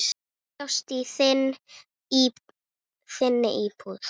Bjóst í þinni íbúð.